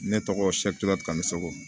Ne tɔgɔ siga tamu